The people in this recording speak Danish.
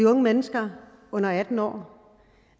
af unge mennesker under atten år